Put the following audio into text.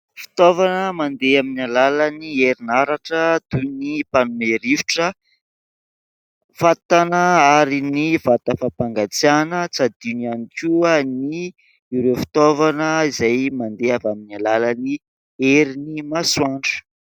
Fitaovana mandeha amin'ny alalan'ny herinaratra toy ny mpanome rivotra, fatana ary ny vata fampangatsiahana. Tsy adino ihany koa ny : ireo fitaovana izay mandeha amin'ny alalan'ny herin'ny masoandro.